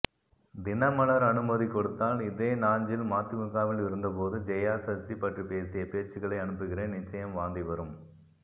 தினமலர் அனுமதி கொடுத்தால் இதே நாஞ்சில் மதிமுகவில் இருந்தபோது ஜெயா சசி பற்றிப்பேசிய பேச்சுக்களை அனுப்புகிறேன் நிச்சயம் வாந்தி வரும்